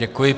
Děkuji.